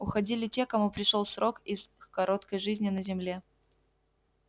уходили те кому пришёл срок их короткой жизни на земле